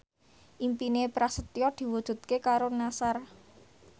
impine Prasetyo diwujudke karo Nassar